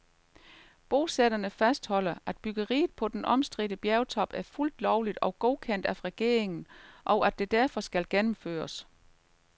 Bosætterne fastholder, at byggeriet på den omstridte bjergtop er fuldt lovligt og godkendt af regeringen, og at det derfor skal gennemføres.